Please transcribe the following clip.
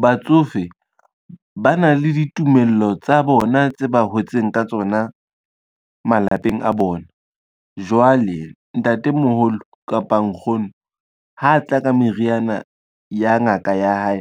Batsofe ba na le ditumello tsa bona tse ba hotseng ka tsona malapeng a bona. Jwale ntatemoholo kapa nkgono ha tla ka meriana ya ngaka ya hae,